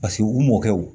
Paseke u mɔkɛw